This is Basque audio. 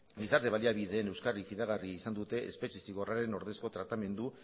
gizarte baliabideen euskarri fidagarri izan dute espetxe zigorraren ordezko tratamendu